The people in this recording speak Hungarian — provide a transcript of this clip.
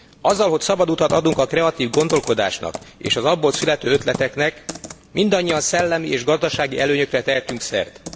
Azzal, hogy szabad utat adunk a kreatív gondolkodásnak és az abból születő ötleteknek mindannyian szellemi és gazdasági előnyökre tehetünk szert.